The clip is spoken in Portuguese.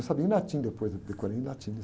Eu sabia em latim depois, eu decorei em latim.